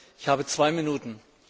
Ich habe zwei Minuten.